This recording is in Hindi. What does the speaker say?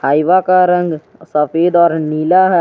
हाईवा का रंग सफेद और नीला है।